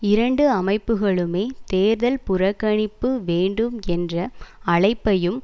இரண்டு அமைப்புக்களுமே தேர்தல் புறக்கணிப்பு வேண்டும் என்ற அழைப்பையும்